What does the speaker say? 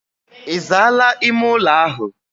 Izaala ime ulo ahu?